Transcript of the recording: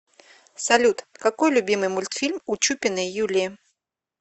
салют какой любимый мультфильм у чупиной юлии